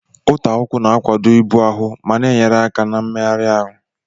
Ụta ụkwụ na-akwado ibu ahụ ma na-enyere aka na mmegharị ahụ